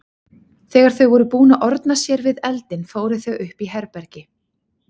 Þegar þau voru búin að orna sér við eldinn fóru þau upp í herbergi.